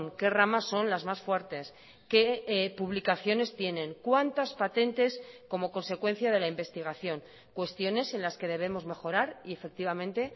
qué ramas son las más fuertes qué publicaciones tienen cuántas patentes como consecuencia de la investigación cuestiones en las que debemos mejorar y efectivamente